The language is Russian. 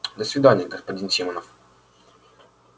до свидания господин симонов